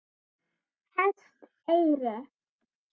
Hesteyri